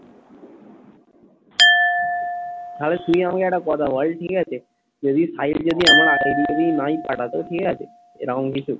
আরে তুই আমাকে একটা কথা বল ঠিক আছে যদি আমার আগে যদি নাই পাঠাতো ঠিক আছে এরকম কিছু?